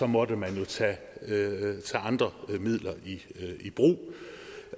måtte man tage andre midler i brug